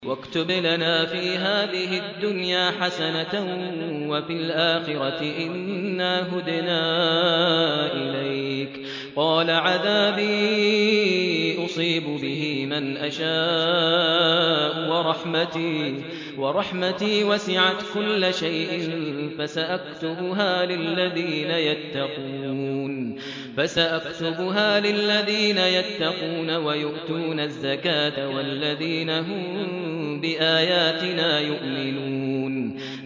۞ وَاكْتُبْ لَنَا فِي هَٰذِهِ الدُّنْيَا حَسَنَةً وَفِي الْآخِرَةِ إِنَّا هُدْنَا إِلَيْكَ ۚ قَالَ عَذَابِي أُصِيبُ بِهِ مَنْ أَشَاءُ ۖ وَرَحْمَتِي وَسِعَتْ كُلَّ شَيْءٍ ۚ فَسَأَكْتُبُهَا لِلَّذِينَ يَتَّقُونَ وَيُؤْتُونَ الزَّكَاةَ وَالَّذِينَ هُم بِآيَاتِنَا يُؤْمِنُونَ